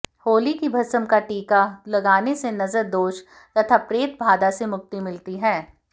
होली की भस्म का टीका लगाने से नजर दोष तथा प्रेतबाधा से मुक्ति मिलती है